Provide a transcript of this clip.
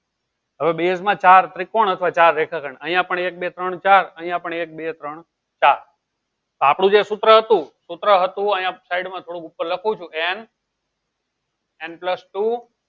હવે base માં ચાર ત્રિકોણ અથવા ચાર રેખાખંડ અહીંયા પણ એક બે ત્રણ ચાર અહીંયા પણ એક બે ત્રણ ચાર આપણું જે સૂત્ર હતું સૂત્ર હતું અહિયાં side થોડું ઉપર લખું છું n plus two